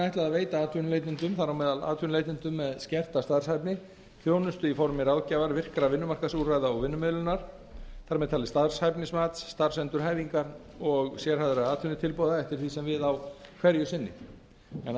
ætlað að veita atvinnuleitendum þar á meðal atvinnuleitendum með skerta starfshæfni þjónustu í formi ráðgjafar virkra vinnumarkaðsúrræða og vinnumiðlunar þar með talin starfshæfnismats starfsendurhæfingar og sérhæfðra atvinnutilboða eftir því sem við á hverju sinni en